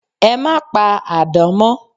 E máa pa àdán mọ́